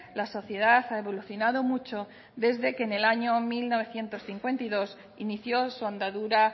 la sociedad ha evolucionado mucho desde que en el año mil novecientos cincuenta y dos inició su andadura